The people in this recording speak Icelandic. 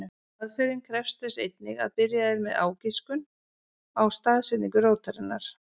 Aðferðin krefst þess einnig að byrjað er með ágiskun á staðsetningu rótarinnar.